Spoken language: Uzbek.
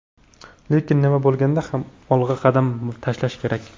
Lekin nima bo‘lganda ham olg‘a qadam tashlash kerak.